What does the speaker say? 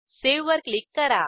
save वर click करा